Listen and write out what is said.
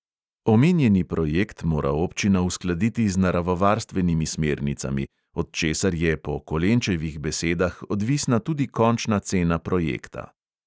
Omenjeni projekt mora občina uskladiti z naravovarstvenimi smernicami, od česar je po kolenčevih besedah odvisna tudi končna cena projekta.